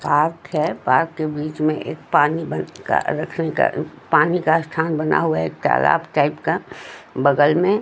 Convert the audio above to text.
park है park के बीच में एक पानी बन का रखने का पानी का स्थान बना हुआ है एक तालाब टाइप का बगल में --